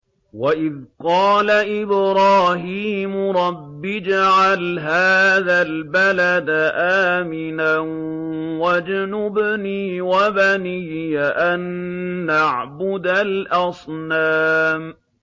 وَإِذْ قَالَ إِبْرَاهِيمُ رَبِّ اجْعَلْ هَٰذَا الْبَلَدَ آمِنًا وَاجْنُبْنِي وَبَنِيَّ أَن نَّعْبُدَ الْأَصْنَامَ